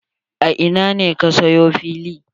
A ina ne ka sayo fili?